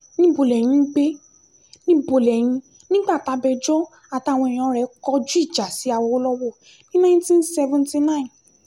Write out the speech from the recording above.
níbo lẹ́yìn ń gbé níbo lẹ́yìn nígbà tabẹjọ́ àtàwọn èèyàn rẹ̀ kọjú ìjà sí awolowo ní nineteen seventy nine